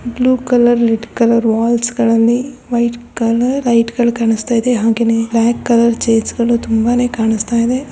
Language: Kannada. Blue colour white colour walls ಗಳಲ್ಲಿ ವೈಟ್ ಕಲರ್ ಲೈಟ್ ಕಲರ್ ಕಾಣಿಸ್ತಾ ಇದೆ ಹಾಗೇನೇ ಬ್ಲಾಕ್ ಕಲರ್ ಚೇರ್ಸ್ ಕಲರ್ ತುಂಬಾನೇ ಕಾಣುತ್ತಿದೆ.